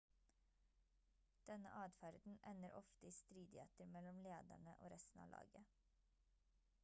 denne adferden ender ofte i stridigheter mellom lederne og resten av laget